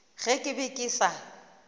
ge ke be ke sa